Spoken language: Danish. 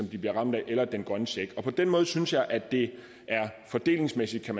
de bliver ramt af eller den grønne check på den måde synes jeg at det fordelingsmæssigt er